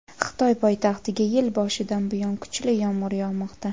Xitoy poytaxtiga yil boshidan buyon kuchli yomg‘ir yog‘moqda.